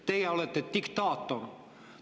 Teie olete diktaator.